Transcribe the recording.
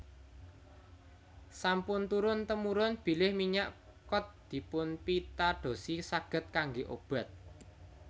Sampun turun temurun bilih minyak kod dipunpitadosi saged kanggé obat